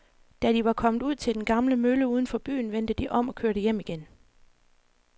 Da de var kommet ud til den gamle mølle uden for byen, vendte de om og kørte hjem igen.